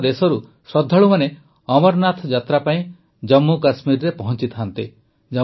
ସମଗ୍ର ଦେଶରୁ ଶ୍ରଦ୍ଧାଳୁମାନେ ଅମରନାଥ ଯାତ୍ରା ପାଇଁ ଜାମ୍ମୁକାଶ୍ମୀରରେ ପହଂଚିଥାନ୍ତି